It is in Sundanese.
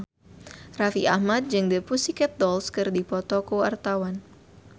Raffi Ahmad jeung The Pussycat Dolls keur dipoto ku wartawan